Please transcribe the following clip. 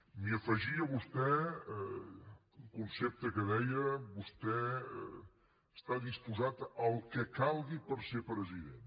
m’hi afegia vostè un concepte que deia vostè està disposat al que calgui per ser president